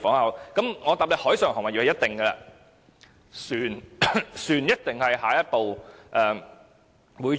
我可以回答海上貨運業一定會，船一定是下一步會做的。